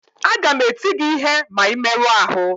Aga m eti gị ihe ma ị merụọ ahụ